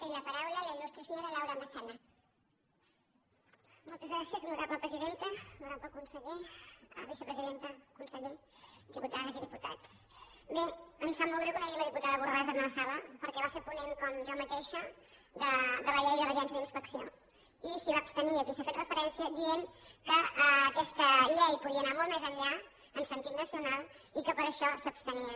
honorable conseller vicepresidenta conseller diputades i diputats bé em sap molt greu que no hi hagi la diputada borràs en la sala perquè va ser ponent com jo mateixa de la llei de l’agència d’inspecció i s’hi va abstenir i aquí s’hi ha fet referència dient que aquesta llei podia anar molt més enllà en sentit nacional i que per això s’abstenien